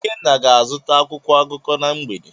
Ikenna ga-azụta akwụkwọ akụkọ na mgbede.